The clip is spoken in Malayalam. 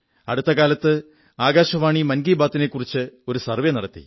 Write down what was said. അടുത്ത കാലത്ത് ആകാശവാണി മൻകീ ബാത്തിനെക്കുറിച്ച് ഒരു സർവ്വേ നടത്തി